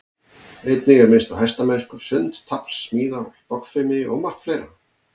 Einnig er minnst á hestamennsku, sund, tafl, smíðar, bogfimi og margt fleira.